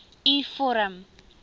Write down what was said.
u vorm